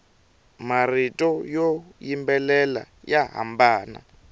marito yo yimbelela ya hambana